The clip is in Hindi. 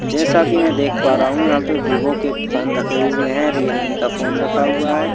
जैसा कि मैं देख पा रहा हूं यहां पे विवो के फोन हुए हैं रियलमी का फोन रखा हुआ है।